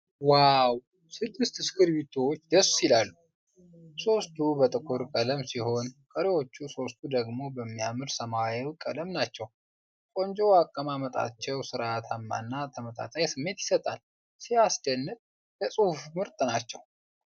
ዋው! ስድስት እስክርቢቶዎች ደስ ይላልሉ። ሦስቱ በጥቁር ቀለም ሲሆኑ፣ ቀሪዎቹ ሦስቱ ደግሞ በሚያምር ሰማያዊ ቀለም ናቸው። ቆንጆ አቀማመጣቸው ሥርዓታማና ተመጣጣኝ ስሜት ይሰጣል። ሲያስደንቅ! ለጽሑፍ ምርጥ ናቸው።